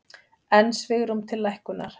Enn svigrúm til lækkunar